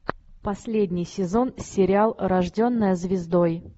последний сезон сериал рожденная звездой